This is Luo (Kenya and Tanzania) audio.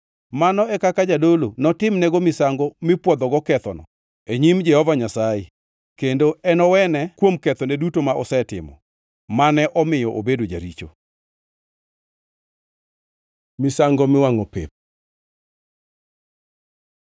Mano e kaka jadolo notimnego misango mipwodhogo kethoneno e nyim Jehova Nyasaye, kendo enowene kuom ketho duto ma osetimo, mane omiyo obedo jaricho.” Misango miwangʼo pep